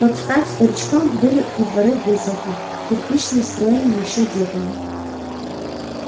под стать старикам были и дворы в выселках кирпичные строенные ещё дедами